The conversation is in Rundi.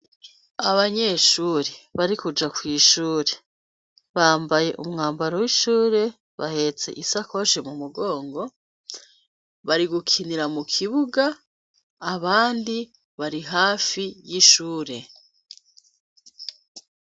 abanyeshuri bari kuja kw'ishure bambaye umwambaro w'ishure bahetse isakoshi mu mugongo bari gukinira mu kibuga abandi bari hafi y'ishure